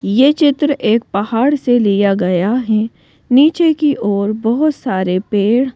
यह चित्र एक पहाड़ से लिया गया है नीचे की ओर बहुत सारे पेड़--